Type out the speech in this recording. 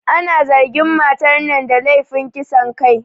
Ana zargin matar nan da lefin kisan kai